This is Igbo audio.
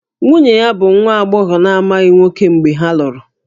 Nwunye ya bụ nwa agbọghọ na-amaghị nwoke mgbe ha lụrụ